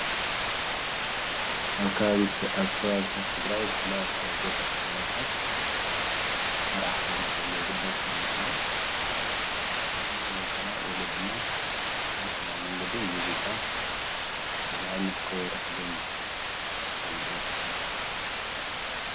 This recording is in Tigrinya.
ኣብ ከባብታት ትግራይ ብፍላይ ኣብ ገጠር ከባቢታት መርዓ ክህሉ ከሎ ጉዳይ እንትህሉ ከሎ ኣሕዋትና ወይ ካዓ ወለድና ብባህላዊ መንገዲ ሙዚቃ ይገብሩ ንኣብነት ከበሮ ሒዞም ይስዕስዑ ባዕሎም ይደርፉ ይስዕስዑ ።